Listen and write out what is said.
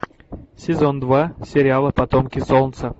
сезон два сериала потомки солнца